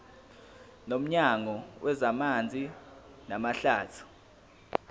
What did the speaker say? nomnyango wezamanzi namahlathi